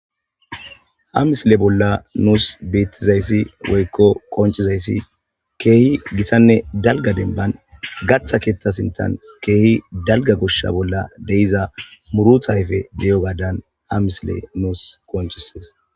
Ha misile bolla nuus beettizayssi woykko qonccizayssi keehi githanne dalga dembban gatha keetha sintan keehi dalga goshsha bolla de7iza murutha ayfe de7iyogadan ha misile nuus qonccisees.